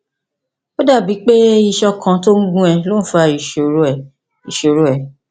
ó dàbíi pé iṣan kan tó ń gún ọ ló ń fa ìṣòro rẹ ìṣòro rẹ